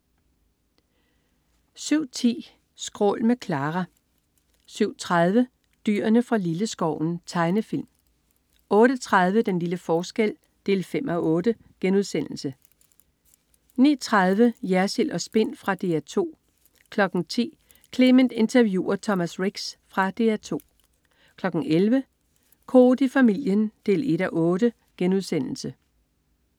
07.10 Skrål med Clara 07.30 Dyrene fra Lilleskoven. Tegnefilm 08.30 Den lille forskel 5:8* 09.30 Jersild & Spin. Fra DR 2 10.00 Clement interviewer Thomas Ricks. Fra DR 2 11.00 Koht i familien 1:8*